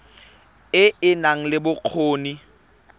e e nang le bokgoni